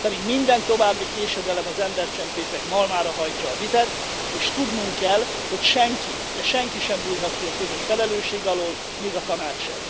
Pedig minden további késedelem az embercsempészek malmára hajtja a vizet, és tudnunk kell, hogy senki, de senki sem bújhat ki a közös felelősség alól, még a Tanács sem.